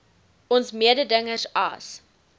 ons mededingers as